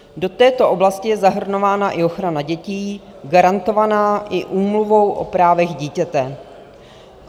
Do této oblasti je zahrnována i ochrana dětí garantovaná i Úmluvou o právech dítěte.